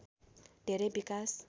धेरै विकास